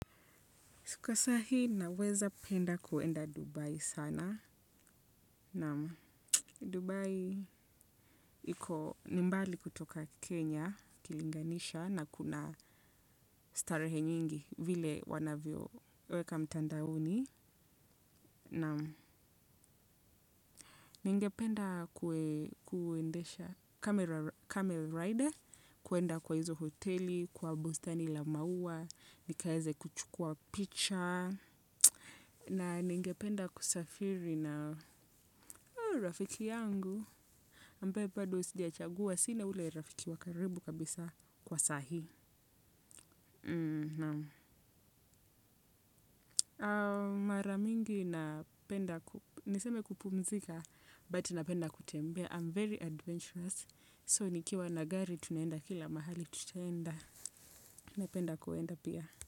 Kwasahi naweza penda kwenda Dubai sana. Na Dubai iko nimbali kutoka Kenya, kilinganisha na kuna starehe nyingi vile wanavyo weka mtandaoni. Naam ningependa kuendesha camel rider, kwenda kwahizo hotel kwa bustani la mauwa nikaweze kuchukua picha. Na ningependa kusafiri na rafiki yangu, ambae bado sichagua sina ule rafiki wakaribu kabisa kwa saa hii. Maramingi napenda, niseme kupumzika, but napenda kutembe. I'm very adventurous, so nikiwa nagari tunaenda kila mahali tutenda, napenda kwenda pia.